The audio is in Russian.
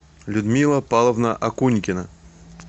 людмила павловна акунькина